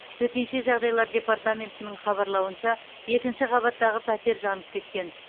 төтенше жағдайлар департаментінің хабарлауынша екінші қабаттағы пәтер жанып кеткен